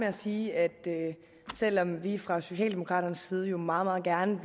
at sige at selv om vi fra socialdemokraternes side jo meget meget gerne